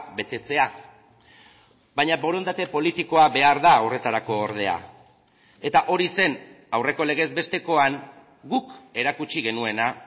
betetzea baina borondate politikoa behar da horretarako ordea eta hori zen aurreko legez bestekoan guk erakutsi genuena